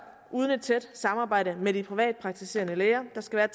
uden et tæt samarbejde med de privatpraktiserende læger der skal være